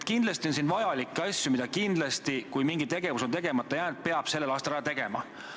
Kindlasti on siin vajalikke asju, mida peab, kui mingi tegevus on tegemata jäänud, sellel aastal ära tegema.